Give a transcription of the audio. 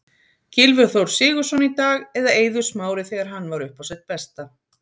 Gylfi Þór Sigurðsson í dag, eða Eiður Smári þegar hann var uppá sitt besta?